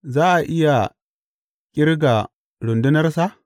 Za a iya ƙirga rundunarsa?